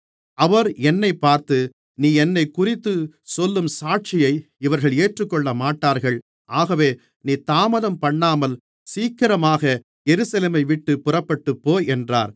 அவர் என்னைப் பார்த்து நீ என்னைக்குறித்துச் சொல்லும் சாட்சியை இவர்கள் ஏற்றுக்கொள்ளமாட்டார்கள் ஆகவே நீ தாமதம்பண்ணாமல் சீக்கிரமாக எருசலேமைவிட்டுப் புறப்பட்டுப்போ என்றார்